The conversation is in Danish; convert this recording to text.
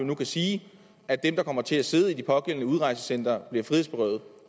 nu kan sige at dem der kommer til at sidde i de pågældende udrejsecentre bliver frihedsberøvet